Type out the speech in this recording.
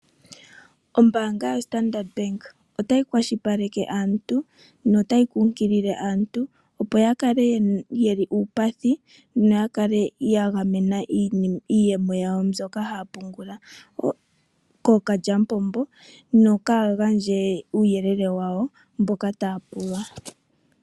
Ombanga yoStandard bank otayi kwashili paleke aantu notayi kunkilile aantu opo ya kale yeli uupathi noya kale ya gamena iiyemo yawo mbyoka haya pungula kalyamupombo nokaya gandje uuyelele wawo mboka taya pulwa.